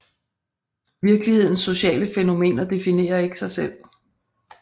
Virkelighedens sociale fænomener definerer ikke sig selv